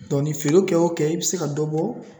Dɔn nin feerew kɛ o kɛ i be se ka dɔ bɔ